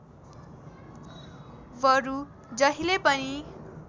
बरु जहिले पनि